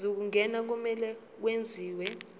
zokungena kumele kwenziwe